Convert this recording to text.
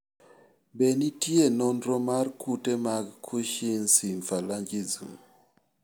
Be nitie nonro mar kute mag Cushing's symphalangism?